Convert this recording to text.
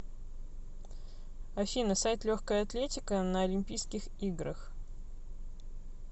афина сайт легкая атлетика на олимпийских играх